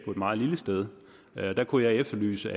meget lille sted der kunne jeg efterlyse